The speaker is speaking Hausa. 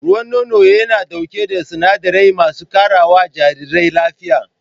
Ruwan nono yana ɗauke da sinadarai masu karawa jarirai lafiya